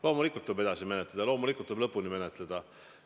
Loomulikult tuleb edasi menetleda, loomulikult tuleb lõpuni menetleda.